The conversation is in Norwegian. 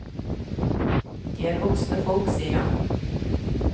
De er voksne folk, sier han.